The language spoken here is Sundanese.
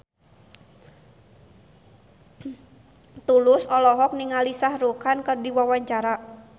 Tulus olohok ningali Shah Rukh Khan keur diwawancara